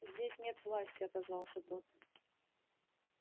здесь нет власти отозвался тот